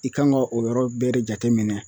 I kan ga o yɔrɔ bɛɛ de jateminɛ